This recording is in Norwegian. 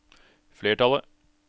flertallet